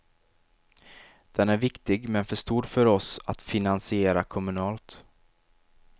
Den är viktig men för stor för oss att finansiera kommunalt.